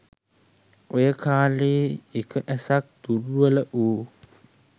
ඔය කාලයේ එක ඇසක් දුර්වල වූ